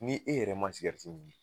Ni e yɛrɛ ma min